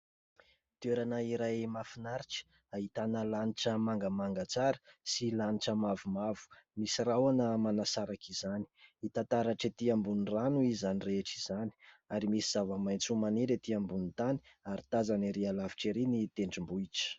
Toerana iray mahafinaritra ahitana lanitra mangamanga tsara sy lanitra mavomavo. Misy rahona manasaraka izany. Hita taratra ety ambony rano izany rehetra izany, ary misy zava-maitso maniry ety ambony tany, ary tazana ery lavitra ery ny tendrombohitra.